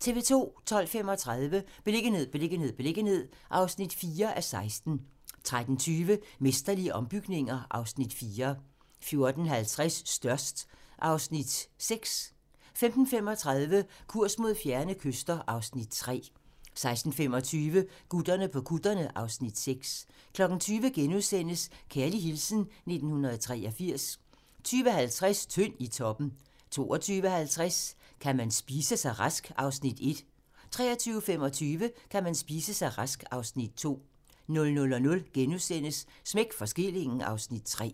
12:35: Beliggenhed, beliggenhed, beliggenhed (4:16) 13:20: Mesterlige ombygninger (Afs. 4) 14:50: Størst (Afs. 6) 15:35: Kurs mod fjerne kyster (Afs. 3) 16:25: Gutterne på kutterne (Afs. 6) 20:00: Kærlig hilsen 1983 * 20:50: Tynd i toppen 22:50: Kan man spise sig rask? (Afs. 1) 23:25: Kan man spise sig rask? (Afs. 2) 00:00: Smæk for skillingen (Afs. 3)*